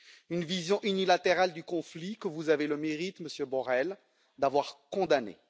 Une vision unilatérale du conflit que vous avez le mérite, Monsieur Borrell, d'avoir condamnée.